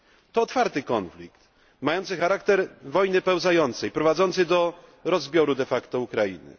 To otwarty konflikt, mający charakter wojny pełzającej, prowadzący do rozbioru Ukrainy.